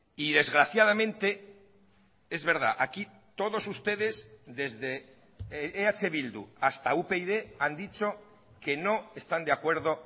y desgraciadamente es verdad aquí todos ustedes desde eh bildu hasta upyd han dicho que no están de acuerdo